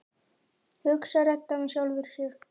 hugsar Edda með sjálfri sér.